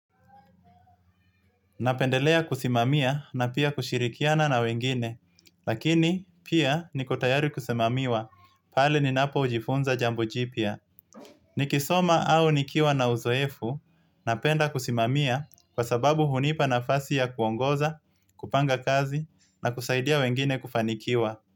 Napendelea kusimamia na pia kushirikiana na wengine, lakini pia niko tayari kusimamiwa pale ninapojifunza jambo jipya. Nikisoma au nikiwa na uzoefu, napenda kusimamia kwa sababu hunipa nafasi ya kuongoza, kupanga kazi, na kusaidia wengine kufanikiwa.